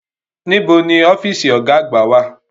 Níbo ni ọ́fíìsì Ọ̀gá àgbà wà?